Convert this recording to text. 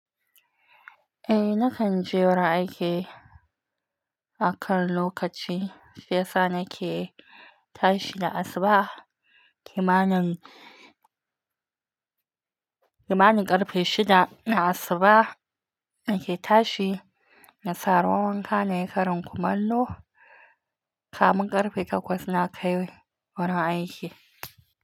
Eh, nakan je wurin aiki a kan lokaci. Shi ya sa nake tashi da asuba kimanin karfe shida na asuba nake tashi na saka ruwan wanka na yi karin kumallo. Kafin karfe takwas na kai wurin aiki.